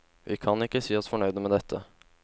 Vi kan ikke si oss fornøyde med dette.